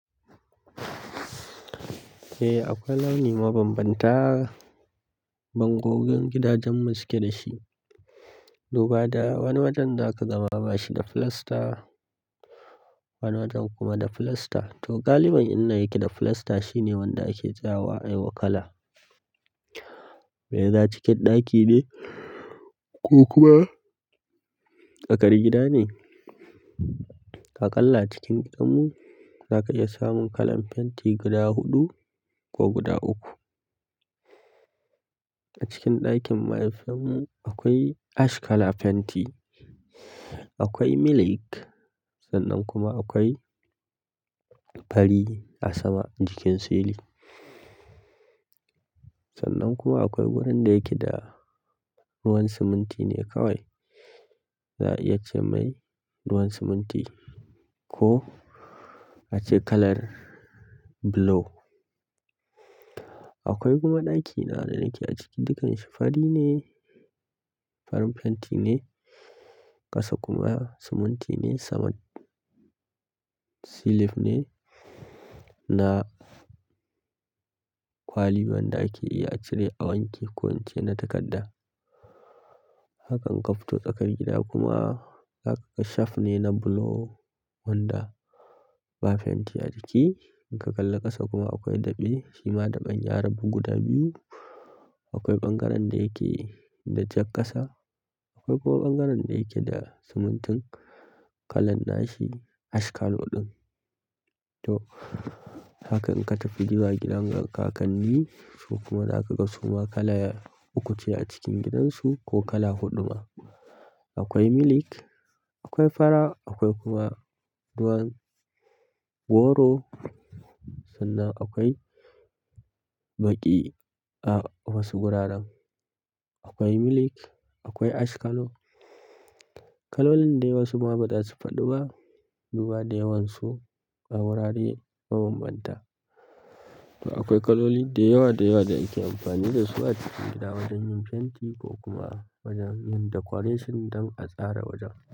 Eh, akwai launin mabambanta. Bangoggin gidajen mu suke da shi. Duba da wani wajen zaka ga ma bashi da filasta, wani wajen kuma da filasta. To, galibi inda yake da filasta shine wanda ake sawa a yiwa kala. Mai za cike ɗaki ne ko kuma tsaƙar gida ne. A kalla cikin huɗu, za ka iya samun kalan fenti guda huɗu ko guda uku. A cikin ɗakin mahaifinmu akwai ash kala fenti, akwai milk sannan kuma akwai fari a sama jikin silin. Sannan kuma akwai wurin da yake da ruwan siminti ne kawai. Za a iya ce mai ruwan siminti ko a ce kalar blue. Akwai kuma ɗakin da nake a ciki dukkanshi farine farin fenti ne ƙasa kuma siminti ne sama kuma cilin ne na kwali wanda ake iya cire a wanke ko ince na takadda. Hakan inka fito tsakar gida kuma zakaga shaf ne na block wanda ba fenti a ciki. In ka kalla ƙasa kuma akwai daɓe, shima daɓen yarabu guda biyu. Akwai ɓangaren da yake da jakkasa, akwai kuma ɓangaren da yake da simintin kalan nashi ash kalan ɗin. To, haka in ka tafi gida gidan wani ka kalli, su kuma za ka ga suma kala uku ce a cikin gidansu ko kala huɗu ma. Akwai milk, akwai fara, akwai kuma ruwan goro. Sannan akwai baƙi a wasu wuraren. Akwai milk, akwai ash kalan. Kalolin da wasu ma ba za su faɗo ba. Duba da yawansu a wurare mabambanta. To akwai kaloli da yawa da yawa da ake amfani da su a cikin gida wajen yin fenti ko kuma wajen yin decoration don a tsara wajen.